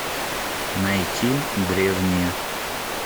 найти древние